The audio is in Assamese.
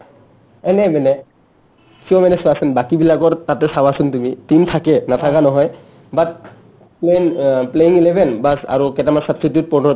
এনে মানে কিয় মানে চোৱাচোন বাকীবিলাকৰ তাতে চাৱাচোন তুমি team থাকে নাথাকা নহয় অ playing eleven baas আৰু substitute কেতামান